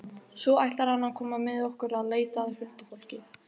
Svo ætlar hann að koma með okkur að leita að huldufólki.